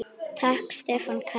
Takk Stefán Karl.